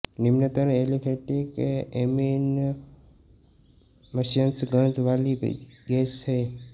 निम्नतर aliphatic amine मत्स्य गंध वाली गैसें हैं